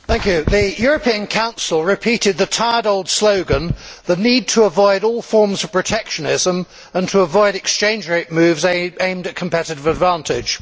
Mr President, the European Council repeated the tired old slogan of the need to avoid all forms of protectionism and to avoid exchange rate moves aimed at competitive advantage.